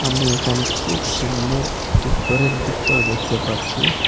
আমি একানে খুব সুন্দর একটি ঘরের ভিতর দেখতে পাচ্ছি।